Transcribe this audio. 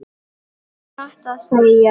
Satt að segja.